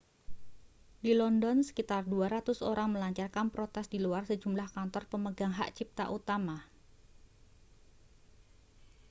di london sekitar 200 orang melancarkan protes di luar sejumlah kantor pemegang hak cipta utama